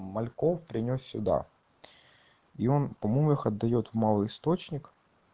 мальков принёс сюда и он по моему их отдаёт в малый источник